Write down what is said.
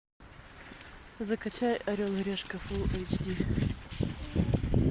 закачай орел и решка фулл эйч ди